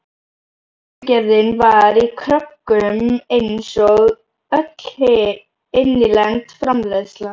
Sultugerðin var í kröggum einsog öll innlend framleiðsla.